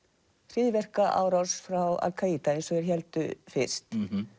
hryðjuverkaárás frá al Kaída eins og þeir héldu fyrst